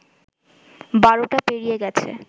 ১২টা পেরিয়ে গেছে